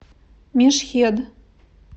мешхед